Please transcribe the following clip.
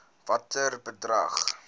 watter bedrag